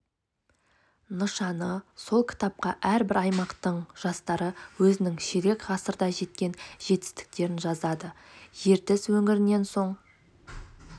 нышаны сол кітапқа әрбір аймақтың жастары өзінің ширек ғасырда жеткен жетістіктерін жазады ертіс өңірінен соң